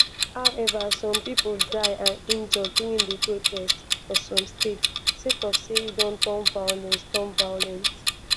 however some pipo die and injure during di protest for some states sake of say e don turn violent. turn violent.